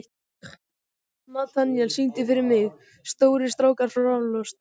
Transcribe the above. Natanael, syngdu fyrir mig „Stórir strákar fá raflost“.